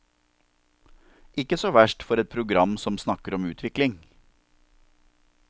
Ikke så verst for et program som snakker om utvikling.